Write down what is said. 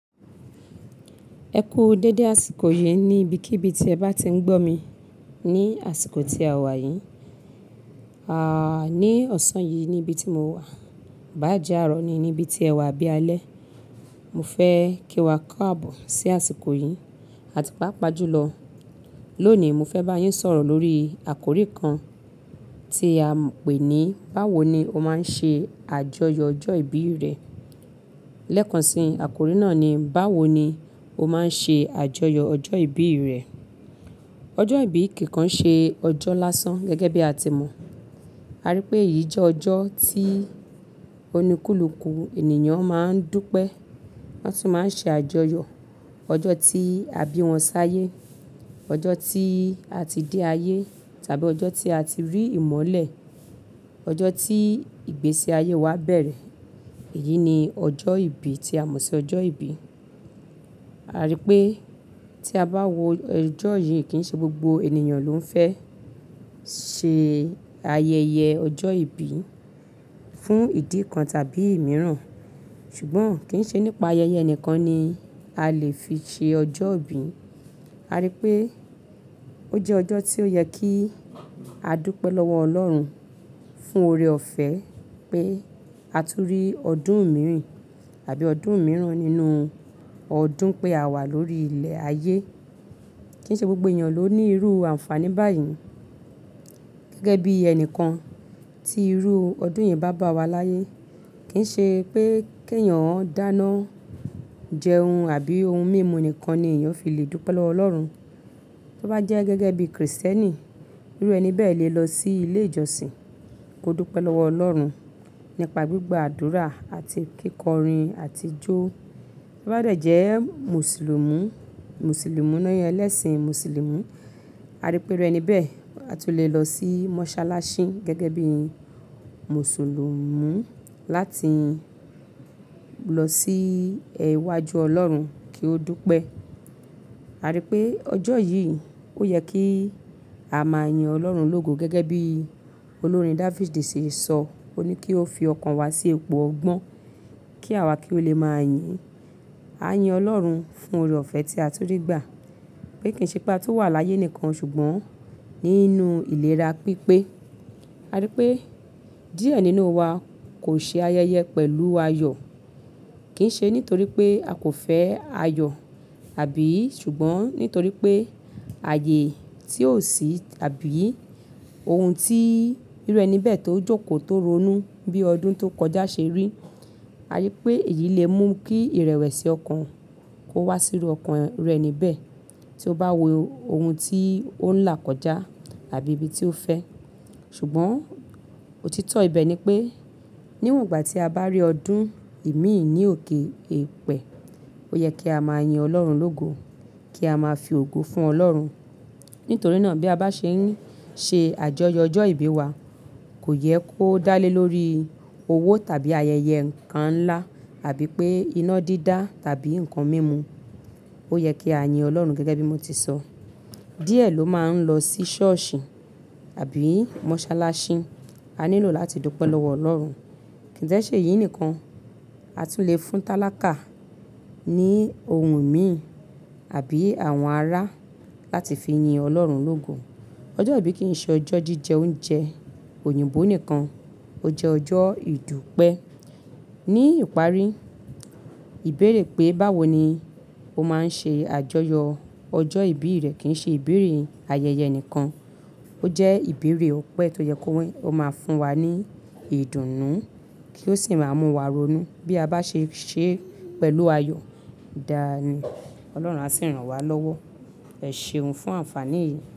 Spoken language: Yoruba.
Ẹ kú dédé àsìkò yìí ní ibi kí ibi tí ẹ bá ti ń gbọ́ mi ní àsìkò tí a wà yìí. Àà, ní ọ̀sán yìí níbi tí mo wà, báàjẹ́ àárọ̀ ni níbi tí ẹ wà bí alẹ́. Mo fẹ́ kí wa k'àbọ̀ sí àsìkò yìí àti páápàá jùlọ. Lónìí mo fẹ́ bá yín sọ̀rọ̀ lórí àkórí kan tí a ń pè ní "báwo ni o máa ń ṣe àjọyọ̀ ọjọ́ ìbí rẹ?" Lẹ́kànṣí àkórí náà ni "báwo ni o máa ń ṣe àjọyọ̀ ọjọ́ ìbí rẹ?" Ọjọ́ ìbí kì kàn ṣe ọjọ́ lásán gẹ́gẹ́ bí a ti mọ̀. A rí pé èyí jẹ́ ọjọ́ tí oníkúlùkù ènìyàn máa ń dúpẹ́, wọ́n sì máa ń ṣe àjọyọ̀. Ọjọ́ tí a bí wọn sáyé, ọjọ́ tí a ti dé ayé tàbí ọjọ́ tí a ti rí ìmọ̀lẹ̀, ọjọ́ tí ìgbésí ayé wa bẹ̀rẹ̀. Èyí ni ọjọ́ ìbí tí a mọ̀ sí ọjọ́ ìbí. A rí pé tí a bá wo ọjọ́ yìí kì í ṣe gbogbo ènìyàn ló ń fẹ́ ṣe ayẹyẹ ọjọ́ ìbí fún ìdí kan tàbí ìmíràn. Ṣùgbọ́n kì í ṣe nípa ayẹyẹ ẹnìkan ni a lè fi ṣe ọjọ́ ìbí. A rí pé ó jẹ́ ọjọ́ tí ó yẹ kí a dúpẹ́ lọ́wọ Ọlọ́run fún oore-ọ̀fẹ́ pé a tú rí ọdún mẹ́rin tàbí ọdún miran nínú ọdún pé a wà lórí ilẹ̀ ayé. Kì í ṣe gbogbo èyàn ló ní irú àǹfààní báyìí. Gẹ́gẹ́ bí ẹnìkan tí irú ọdún yẹn bá bá wa láyé, kì í ṣe pé kí ènìyàn dáná jẹun àbí ohun mímu nìkan ni ènìyàn fi lè dúpẹ́ lọ́wọ Ọlọ́run. Tó bá jẹ́ gẹ́gẹ́ bí Kristẹ́nì, irú ẹni bẹ́ẹ̀ lè lọ sí ilé ìjọsìn kó dúpẹ́ lọ́wọ Ọlọ́run nípa gbígba àdúrà àti kíkọrin àti jó. Tó bá dẹ̀ jẹ́ Mùsùlùmu, Mùsùlùmu náà yẹ ẹlẹ́sìn Mùsùlùmí. A rí pé irú ẹni bẹ́ẹ̀ a tún lè lọ sí mọ́sálásí gẹ́gẹ́ bí Mùsùlùmu láti lọ sí iwájú Ọlọ́run kí ó dúpẹ́. A rí pé ọjọ́ yìí ó yẹ kí a máa yin Ọlọ́run lógo gẹ́gẹ́ bí olórin David di sísọ, ó ní kí o fi ọkàn wa sí ipo ọgbọ́n kí àwa kí ó lè máa yin. A yin Ọlọ́run fún oore-ọ̀fẹ́ tí a tún rí gbà. Pé kì í ṣe pé a tun wà láyé nìkan ṣùgbọ́n nínú ìlera pípé. A rí pé díẹ̀ nínú wa kò ṣe ayẹyẹ pẹ̀lú ayọ̀. Kì í ṣe nítorí pé a kò fẹ́ ayọ̀ àbí ṣùgbọ́n nítorí pé ààyè tí ó sì tàbí ohun tí irú ẹni bẹ́ẹ̀ tó jókòó tó ronú bí ọdún tó kọjá ṣe rí. A rí pé èyí lè mú kí ìrẹ̀wẹ̀sì ọkàn kó wá síru ọkàn irú ẹni bẹ́ẹ̀ tí ó bá wo ohun tí ó ń là kọjá àbí ibi tí ó fẹ́. Ṣùgbọ́n òtítọ́ ibẹ̀ ni pé níwọ̀n ìgbà tí a bá rí ọdún ìmíì ní òkè ẹ̀pẹ̀, ó yẹ kí a máa yin Ọlọ́run lógo, kí a máa fi ògo fún Ọlọ́run. Nítorí náà bí a bá ṣe ń ṣe àjọyọ̀ ọjọ́ ìbí wa, kò yẹ kó dá lé lórí owó tàbí ayẹyẹ nkan ńlá àbí pé iná dídá tàbí nǹkan mímu. Ó yẹ kí a yin Ọlọ́run gẹ́gẹ́ bí mo ti sọ. Díẹ̀ ló máa ń lọ sí ṣọ́ọ̀ṣì àbí mọ́sálásí. A nílò láti dúpẹ́ lọ́wọ Ọlọ́run. Kì í dee ṣe èyí nìkan, a tún lè fún tálákà ní ohun ìmi àbí àwọn ará láti fi yin Ọlọ́run lógo. Ọjọ́ ìbí kì í ṣe ọjọ́ jíjẹ oúnjẹ òyìnbó nìkan, ó jẹ́ ọjọ́ ìdúpẹ́. Ní ìparí, ìbéèrè pé báwo ni o máa ń ṣe àjọyọ̀ ọjọ́ ìbí rẹ kì í ṣe ìbéèrè ayẹyẹ nìkan. Ó jẹ́ ìbéèrè ọ̀pẹ tó yẹ kó máa fún wa ní ìdùnnú kí ó sì máa mú wa ronú bí a bá ṣe ń ṣe pẹ̀lú ayọ̀. Dáàní, Ọlọ́run á sì ràn wá lọ́wọ́. Ẹ ṣeun fún àǹfààní yìí.